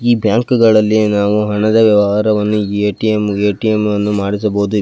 ಈ ಬ್ಯಾಂಕ್ಗಳಲ್ಲಿ ನಾವು ಹಣದ ವ್ಯವಹಾರವನ್ನು ಎ_ಟಿ_ಎಂ ಅನ್ನು ಮಾಡಿಸಬಹುದು.